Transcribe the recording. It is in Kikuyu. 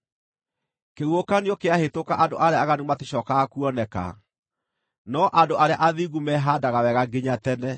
Kĩhuhũkanio kĩahĩtũka andũ arĩa aaganu maticookaga kuoneka, no andũ arĩa athingu mehaandaga wega nginya tene.